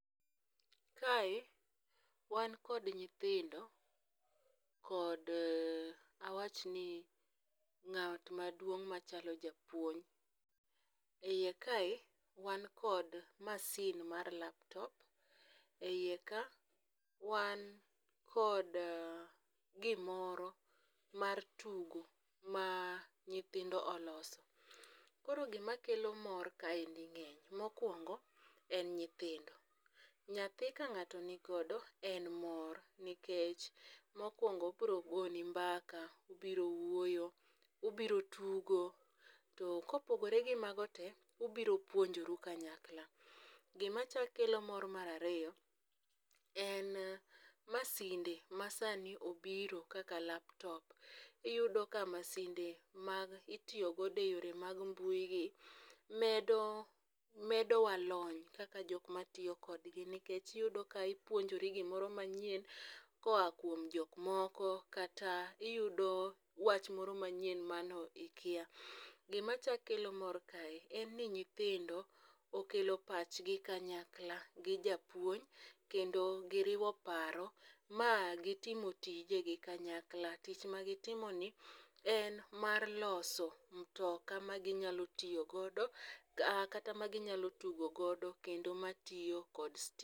Kae wan kod nyithindo kod awach ni ng'at maduong' machalo japuonj. Iye kae wan kod masin mar laptop ,e iye ka wan kod gimoro mar tugo ma nyithindo oloso. Koro gima kelo mor kaendi ng'eny mokwongo en nyithindo .Nyathi ka ng'ato nigodo en moro nikech mokwongo obro goni mbaka ubiro wuoyo ubiro tugo to kopogore gi mago te ubiro puonjoru kanyakla. Gima chak kelo mor mar ariyo en masinde ma sani obiro kaka laptop iyudo ka masinde mag itiyo godo eyore mag mbui gi medo medo walony kaka jok matiyo kodgi nikech iyudo ka ipuonjorgimroo manyien koa kuom jok moko kata iyudo wach moro manyien mane ikia .Gima chak kelo mor kae en ni nyithindo okelo pachgi kanyakla gi japuonj kendo giriwo paro ma gitimo tije gi kanyakla. Tich ma gitimo ni en mar loso mtoka ma ginyalo tiyo godo ka kata ma ginyalo tugo godo kendo matiyo kod stima.